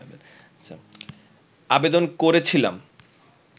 আবেদন করেছিলাম